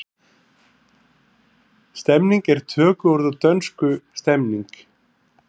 Stemning er tökuorð úr dönsku stemning.